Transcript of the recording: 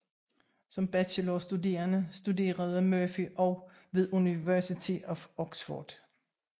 Som bachelorstuderende studerede Murphy også ved University of Oxford